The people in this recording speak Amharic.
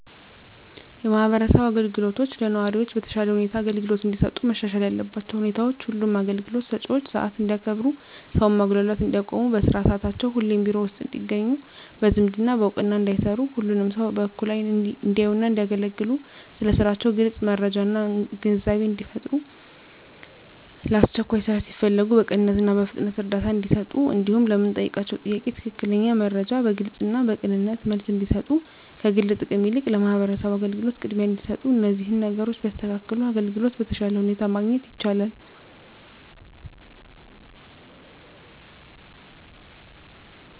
የማህበረሰብ አገልግሎቶች ለነዋሪዎች በተሻለ ሁኔታ አገልግሎት እንዲሰጡ መሻሻል ያለባቸው ሁኔታዎች ሁሉም አገልግሎት ሰጭዎች ሰዓት እንዲያከብሩ ሰውን ማጉላላት እንዲያቆሙ በስራ ሰዓታቸው ሁሌም ቢሮ ውስጥ እንዲገኙ በዝምድና በእውቅና እንዳይሰሩ ሁሉንም ሰው በእኩል አይን እንዲያዩና እንዲያገለግሉ ስለ ስራቸው ግልጽ መረጃና ግንዛቤን እንዲፈጥሩ ለአስቸኳይ ስራ ሲፈለጉ በቅንነትና በፍጥነት እርዳታ እንዲሰጡ እንዲሁም ለምንጠይቃቸው ጥያቄ ትክክለኛ መረጃ በግልጽና በቅንነት መልስ እንዲሰጡ ከግል ጥቅም ይልቅ ለማህበረሰቡ አገልግሎት ቅድሚያ እንዲሰጡ እነዚህን ነገሮች ቢያስተካክሉ አገልግሎት በተሻለ ሁኔታ ማግኘት ይቻላል።